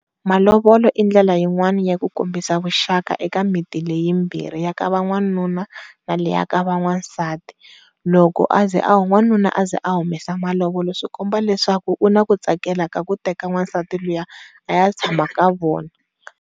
Malovola i ndlela yin'wani ya ku kombisa vuxaka eka miti leyi yimbirhi ya ka van'wanuna na leyi ya ka van'wansati, loko aze a n'wanuna aze humesa malovola swi komba leswaku u na ku tsakela ka ku teka nwasati luya a ya tshama ka vona.